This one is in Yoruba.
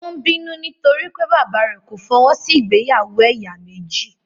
Ó ń bínú nítorí pé bàbáà rẹ̀ kò fọwọ́ sí ìgbéyàwó ẹ̀yà méjì.